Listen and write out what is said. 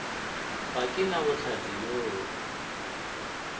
ga ke na bohlatse bjoo